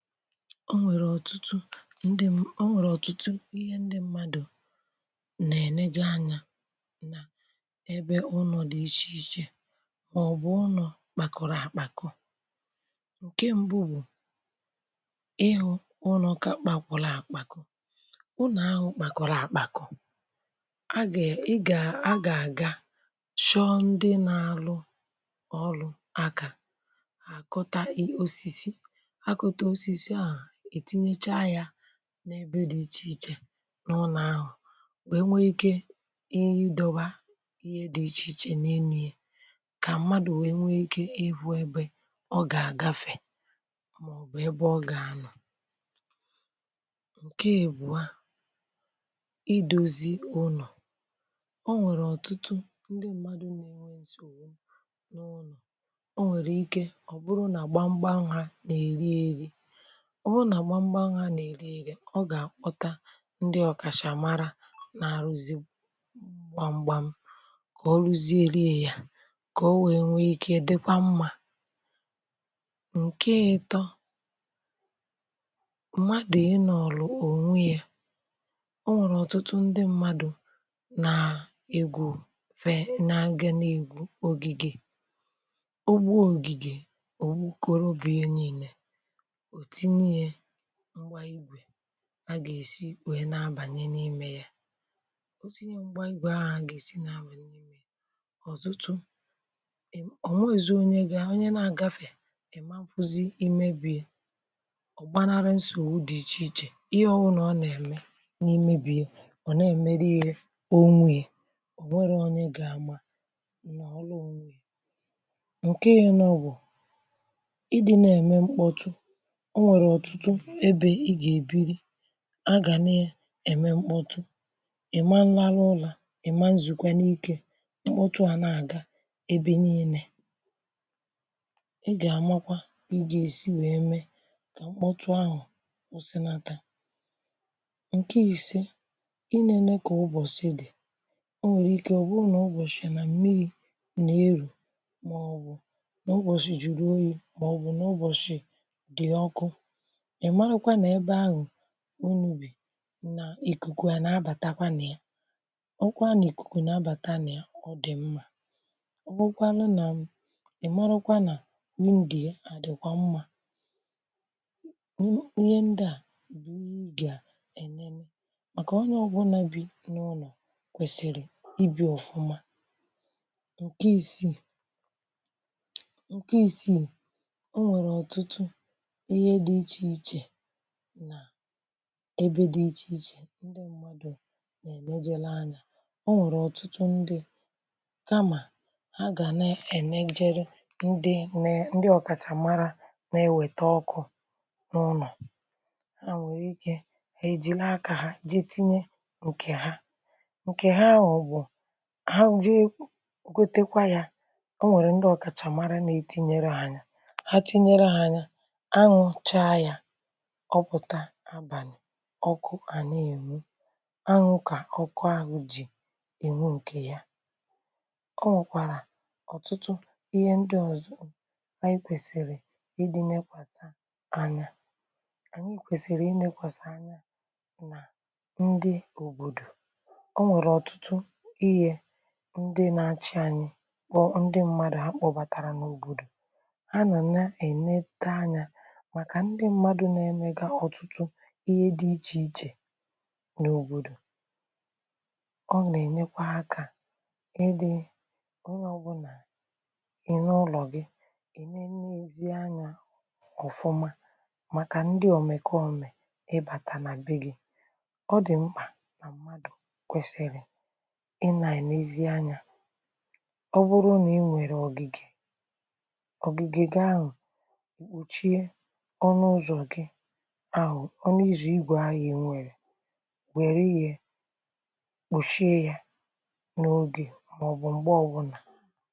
Ọ́ nwèrè ọ́tụ́tụ́ ńdị́ ḿmà, Ọ́ nwèrè ọ́tụ́tụ́ íhé ńdị́ ḿmádụ̀ ná-èlégá ányá n'ébé ụ́nọ̀ dị́ íchè íchè; mà ọ́ bụ̀ ụ́nọ̀ kpákórọ́ àkpàkọ́. Ǹké ḿbụ́ wụ́ ị́hụ́ ụ́nọ̀ kà kpákwụ́rụ́ àkpàkọ́; ụ́nọ̀ áhụ̀ kà kpákórọ́ àkpàkọ́, á gà ị́ gá á gà-ágá chọ́ọ́ ńdị́ ná-álụ́ ọ́lụ́ áká hà àkụ́tá ósísí, hà kụ́tá ósísí áhụ̀ ètínyécháá yá n'ébé dị́ íchè íchè n'ụ́lọ̀ áhụ̀ wéé nwéé íké ị́dọ̀bà ìhè dị́ íchè íchè n'énú yè, kà ḿmádụ̀ wéé nwéé íké ị́hụ́ ébé ọ́ gà-àgáfé màọ̀bụ̀ ébé ọ́ gà-ánọ̀. Nke ị̀bụ̀à. ídoõzī ụ́nọ̀: ọ́ nwéré ọ́tụ́tụ́ ńdị́ ḿmádụ̀ na-ènwè ńsògbù n'ụ́nò, ò nwèrè íké ọ́ bụ́rụ́ na gbámgbám há ná-èrí érí. ọ́ bụ́rụ́ nà gbámgbám há ná-èrí érí ọ́ gà-àkpọ́tá ńdí ọ̀kàchàmárá ná-árụ́zí gbámgbám kà ọ́rụ́ziérịà yá kà ọ́ wéé nwéé íké dị̀kwà ḿmá. Ǹkè ị̀tọ́. ḿmádụ̀ ị́ nọ̀ọ̀rọ̀ ònwéiá: Ọ́ nwèrè ọ́tụ́tụ́ ńdị́ ḿmádụ̀ ná-égwù fè nà àgá ná-égwú ògìgè, ò gbúò ǹgìgè ò gbúkólú bíè ńiílé ò tínyéià ḿgbá ígwè á gá-èsí wéé ná-ábànyé n'ímé yá. Ò tínyéià ḿgbá ígwè áhụ̀ á gá-èsí ná-ábà n'ímé yá, ọ́tụ́tụ́, ònwéghízí ónyé gà, ónyé na-ágáfè ị́mā ńfụ́zị̀ ímé béịà. Ọ́ gbánárụ́ ńsògbù dị́ íchè íchè, íhé ọ́wụ́nà ọ́ nà-èmé n'ímé bíè ọ̀ nà-èmérụ́ià ònwéié. Ọ́nwérọ̀ ónyé gá-ámá, ọ̀nọ̀ọ́rụ́ ònwéié. Ǹkè ị̀nọ́ wụ̀ ị́dị́ nà-èmé ḿkpọ́tụ́: ọ̀ ǹwèrè ọ́tụ́tụ́ ébé ị́ gà-èbìrì á gá nà-èmé ḿkpọ́tụ́, ị̀má ńrárụ́ ụ́rá, ị̀má ńzùkwánụ́ íké, ḿkpọ́tụ́ á ná-ágá ébé ńiińé. Ị́ gá ámákwá kà ị́ gá-èsí wéé mé kà ḿkpọ́tụ́ áhụ̀ kwụ́sị́nátá. Ǹkè ìsé. Ínēné kà ụ́bọ̀sị́ dị́: ọ̀ ǹwèrè íké ọ́ bụ́rụ́ nà ụ́bọ̀shị́ nà ḿmírí nà-èrù ḿáọ̀bụ̀ nà ụ́bọ̀shị́ Jùrù óyí ḿáọ̀bụ̀ nà ụ́bọ̀shị́ dị́ ọ́kụ́. Ị màràkwá ná ébé áhụ̀ únù bì nà ìkùkù á ná-ábàtákwá ńị̀à? Ọ́ bụ́kwárá nà ìkùkù ná-ábàtá ńị̀à, ọ́ dị́ ḿmá. ọ́ bụ́rụ́kwànụ́ ná um ị̀ ḿárákwá ná wíndòị̀à à dị́kwà ḿmá. Í Íhé ńdị́ á bụ̀ íhé ị́ gà-ènéné màkà ónyé ọ́bụ́nà bí n'ụ́nọ̀ kwèsị̀rị̀ íbí ọ̀fụ́má. Ǹkè ìsìì ǹkè ìsìì. ọ̀ ǹwèrè ọ́tụ́tụ́ íhé dị́ íchè íchè n'ébé dị̀ íchè íchè ńdí ḿmádụ̀ nà -ènéjélú ányá. Ọ̀ ǹwèrụ̀ ọ́tụ́tụ́ ńdí kámà há gá ná-ènèjèrè ńdị́ né ńdị́ ọ̀kàchàmàrà ná-éwètá ọ́kụ́ n'ụ́nọ̀, há ǹwèrè íké há èjìrì áká há je tinye nke ha. Ǹkè há anwụ bụ há jé gotekwa yá, ọ̀ ǹwèrụ̀ ńdị́ ọ̀kàchàmàrà ná-ètínyérú há nyá, há tínyérụ́ há yá, ánwụ́ cháá yá ọ̀pụ̀tà n'ábàlị̀ ọ́kụ́ á ná-ènwú. Ánwụ́ ká ọ́kụ́, áhụ̀ jì ènwú ǹkè yá. Ọ̀ nwèkwàrà ọ́tụ́tụ́ íhé ńdị́ ọ̀zọ́ ànyị́ kwèsị̀rị̀ ị́dị́ ńekwàsà ányá. Ànyị́ kwèsị̀rị̀ ínékwàsà ányá nà ńdị́ òbòdò. Ọ̀ ǹwèrè ọ́tụ́tụ́ íhé ńdị́ ná-áchị́ ànyị́ kpọ́ ńdị́ ḿmádụ̀ há kpọ́bàtàrà n'òbòdò, há nọ̀ ná- ènétà ányá màkà ńdị́ ḿmádụ̀ ná-èmégá ọ́tụ́tụ́ íhé dị́ íchè íchè n'òbòdò. Ọ̀ nà-ènyékwá áká ịdị onye ọ́bụ́nà n'ụ́nọ̀ gị́ ènénéziá ányá ọ̀fụ́má màkà ńdị́ òmèkómè ị́ bátá ná bé gị́, ọ̀ dị ḿkpà ná ḿmádụ̀ kwèsị̀rị̀ ị́ nà-ènézì ányá. Ọ́ bụ́rụ́ ná ị́ǹwèrè ọ̀gị̀gè, ọ̀gị̀gè gị́ ánwụ̀ ìkpùchie ọnụ ụzọ gị ahụ ọnụ ụzọ ígwè ahụ inwere were ihe kpuchié yá n'ógè máọ̀bụ̀ m̀gbè ọ́bụ́là.